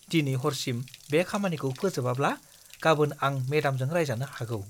दिनै हरसिम बे खामानिखौ फोजोबाब्ला, गाबोन आं मेडामजों रायजानो हागौ।